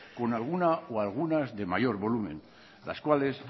con alguna o algunas de mayor volumen las cuales